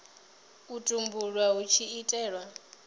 u tumbulwa hu tshi itelwa